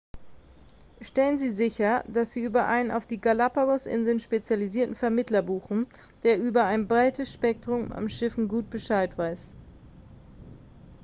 stellen sie sicher dass sie über einen auf die galapagos-inseln spezialisierten vermittler buchen der über ein breites spektrum an schiffen gut bescheid weiß